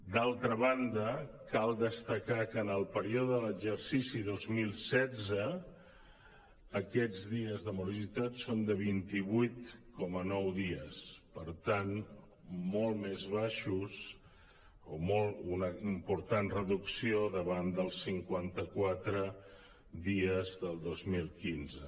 d’altra banda cal destacar que en el període de l’exercici dos mil setze aquests dies de morositat són vint vuit coma nou dies per tant molt més baixos o una important reducció davant dels cinquanta·qua·tre dies del dos mil quinze